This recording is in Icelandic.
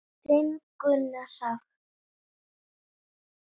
Þinn Gunnar Hrafn.